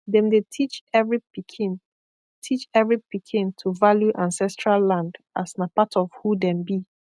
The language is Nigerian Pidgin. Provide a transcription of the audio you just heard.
dem dey teach every pikin teach every pikin to value ancestral land as na part of who dem be